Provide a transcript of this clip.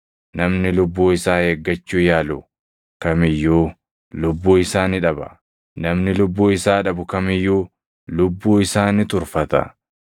Namni lubbuu isaa eeggachuu yaalu kam iyyuu lubbuu isaa ni dhaba; namni lubbuu isaa dhabu kam iyyuu lubbuu isaa ni turfata.